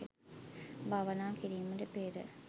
භාවනා කිරීමට පෙර